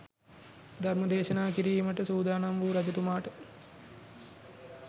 ධර්මදේශනා කිරීමට සූදානම් වූ රජතුමාට